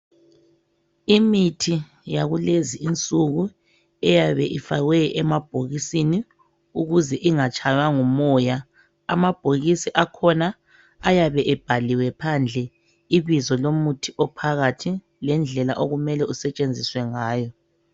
Imithi yalezinsuku iyabe ifakwe emabhokisini ukuze ingatshaywa ngumoya. Amabhokisi akhona ayabe ebhaliwe phandle ibizo lomuthi ophakathi lendlela okumele usetshenziswe ngayo.